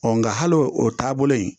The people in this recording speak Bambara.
nka hali o taabolo in